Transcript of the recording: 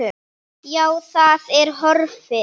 Já, það er horfið.